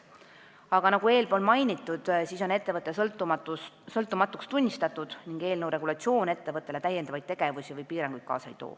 Aga nagu eespool mainitud, on ettevõte sõltumatuks tunnistatud ning eelnõu regulatsioon ettevõttele täiendavaid tegevusi või piiranguid kaasa ei too.